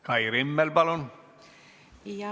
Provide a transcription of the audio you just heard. Kai Rimmel, palun!